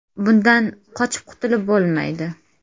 Bundan qochib qutulib bo‘lmaydi.